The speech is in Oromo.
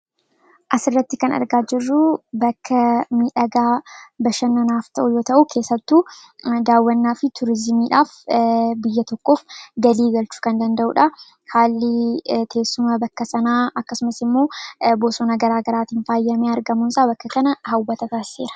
asirratti kan argaa jiruu bakka midhagaa bashannanaaf ta'u yoo ta'uu keessattu daawwannaa fi tuurizimiidhaaf biyya tokkoof galii galchuu kan danda'uudha haalli teessuma bakka sanaa akkasumas immoo bosona garaa garaatiin faayyamee argamuunsaa bakka kana hawwata taasiseera.